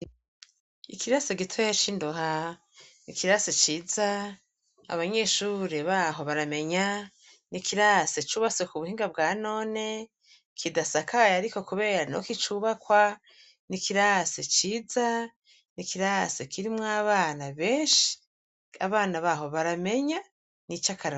Ikirasi gitoya cindoha nikirasi ciza abanyeshure baho baramenya nikirasi cubatswe kubuhinga bwanone kidasakaye ariko niho kicubakwa nikirasi ciza nikirasi kirimwo abana benshi abana baho baramenya nicakarorero